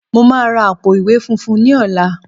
Mo máa ra àpò-ìwé funfun ní ọ̀la